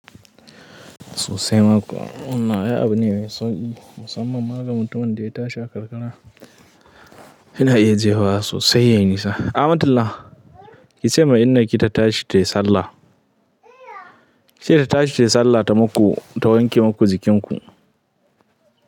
Sosai ma kuwa. Wanna abu ne mai sauƙi musamman ma ga mutumin da ya ta shi a karkara. Ina iya jefawa sosai yaiinisa. Amantallah, ki ce ma inna ki ta tashi ta yi sallah. Ki ce ta tashi ta yi sallah ta maku, ta wanke maku jikin ku.